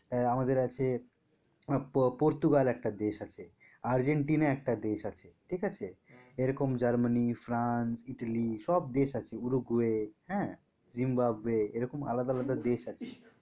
আমাদের আছে পো~ পর্তুগাল একটা দেশ আছেআর্জেন্টিনা একটা দেশ আছে ঠিক আছে এরকম জার্মানি, ফ্রান্স, ইতালি সব দেশ আছে উরুগুয়ে হ্যাঁ জিম্বাবুয়ে এরকম আলাদা আলাদা দেশ আছে